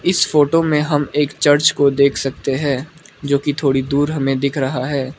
इस फोटो में हम एक चर्च को देख सकते हैं जो कि थोड़ी दूर हमें दिख रहा है।